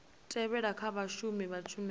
tevhelaho kha vhashumi vha tshumelo